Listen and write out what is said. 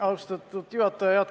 Austatud juhataja!